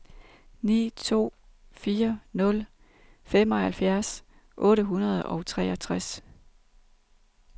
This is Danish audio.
ni to fire nul femoghalvtreds otte hundrede og treogtres